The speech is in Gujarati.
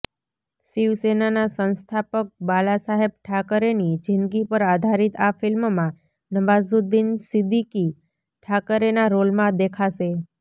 શિવસેનાના સંસ્થાપક બાલા સાહેબ ઠાકરેની જિંદગી પર આધારિત આ ફિલ્મમાં નવાઝુદ્દિન સિદ્દીકી ઠાકરેના રોલમાં દેખાશે